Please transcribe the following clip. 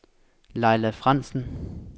Laila Frandsen